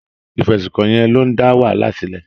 Ìfẹ̀sùnkàn yẹn ló ń dá wàhálà sílẹ̀.